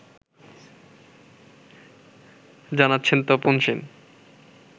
জানাচ্ছেন তপন সেন